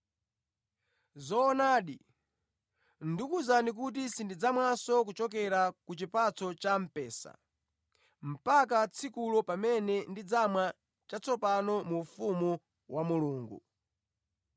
Zoonadi, ndikuwuzani kuti sindidzamwanso kuchokera ku chipatso cha mphesa mpaka tsikulo pamene ndidzamwa chatsopano mu ufumu wa Mulungu.”